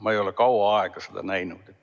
Ma ei ole kaua aega seda näinud.